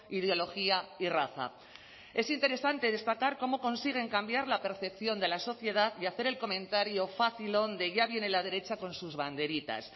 ideología y raza es interesante destacar cómo consiguen cambiar la percepción de la sociedad y hacer el comentario facilón de ya viene la derecha con sus banderitas